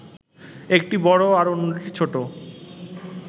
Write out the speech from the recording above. একটি বড় আর অন্যটি ছোট